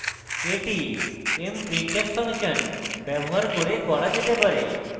এটি mprintf function ব্যবহার করা যেতে পারে